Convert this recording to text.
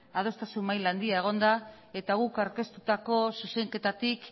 adostasun maila handia egon da eta guk aurkeztutako zuzenketatik